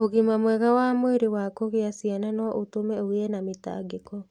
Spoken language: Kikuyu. Ũgima mwega wa mwĩrĩ wa kũgĩa ciana no ũtũme ũgĩe na mĩtangĩko.